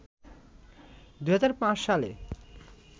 ২০০৫ সালে